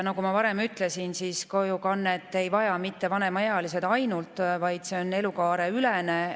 Nagu ma varem ütlesin, siis kojukannet ei vaja mitte ainult vanemaealised, vaid see on elukaareülene.